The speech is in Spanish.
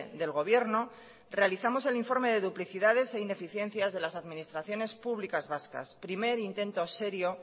del gobierno realizamos el informe de duplicidades e ineficiencias de las administraciones públicas vascas primer intento serio